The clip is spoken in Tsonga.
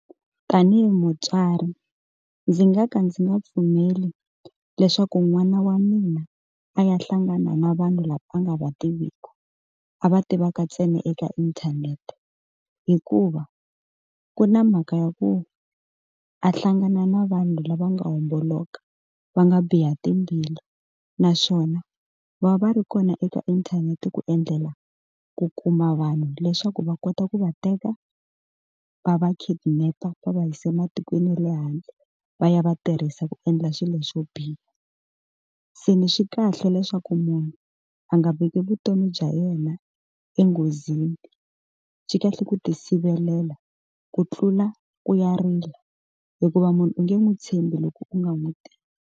Tanihi mutswari ndzi nga ka ndzi nga pfumeli leswaku n'wana wa mina a ya hlangana na vanhu lava a nga va tiviku a va tivaka ntsena eka inthanete hikuva ku na mhaka ya ku a hlangana na vanhu lava nga homboloka va nga biha timbilu naswona va va ri kona eka inthanete ku endlela ku kuma vanhu leswaku va kota ku va teka va va kidnap va va yisa ematikweni ya le handle va ya va tirhisa ku endla swilo xo biha se ni xi kahle leswaku munhu a nga veki vutomi bya yena enghozini xi kahle ku ti sivelela ku tlula ku ya rila hikuva munhu u nge n'wi tshembi loko u nga n'wi tivi.